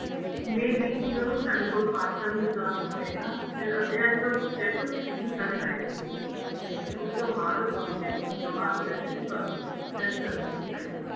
may be ਜਦੋਂ ਸਾਡੇ ਕੋਲ parcel return ਹੋਏਗਾ ਇਹ ਸਬ check ਕੀਤਾ ਜਾਏਗਾ ਤੇ ਉਸ ਤੋਂ ਬਾਅਦ ਤੁਹਾਨੂੰ ਨਵਾਂ collectionਤੁਹਾਨੂੰ send ਕਰ ਦਿੱਤੀ ਜਾਏਗੀ